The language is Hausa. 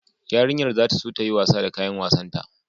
Yarinyar za ta so ta yi wasa da kayan wasanta